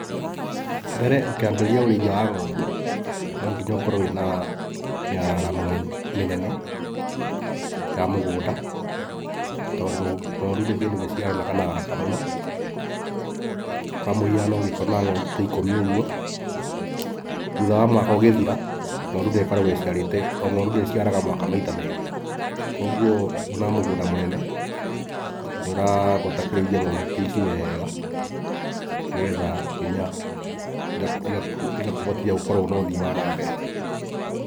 Mbere ũkĩambĩrĩria ũrĩithia wa ng'ondũ no nginya ũkorwo na mĩararamo mĩnene ya mũgũnda tondũ ng'ondũ nĩ kĩndũ gĩciaranaga na haraka mũno. Kwa mũhiano ũngĩkorwo na ngondu ta ikũmi ũguo thutha wa mwaka ũgĩthira ngondũ nĩ okaragwo ĩciarĩte o ng'ondũ ĩciara o mwaka maita merĩ kwoguo wĩna mũgũnda mũnene ũrabatara kũrĩithia ngondũ ta ici wega, nĩgetha nginya igakũhotithia gũkorwo na ũthiĩ wa nambere.